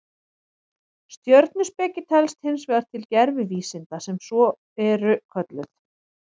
Stjörnuspeki telst hins vegar til gervivísinda sem svo eru kölluð.